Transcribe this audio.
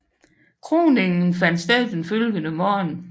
Kroningen fandt sted den følgende morgen